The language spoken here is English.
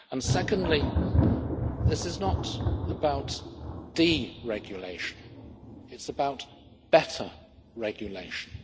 Secondly, this is not about deregulation, it's about better regulation.